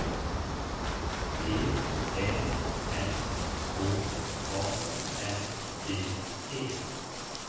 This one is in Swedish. T Ä N K A N D E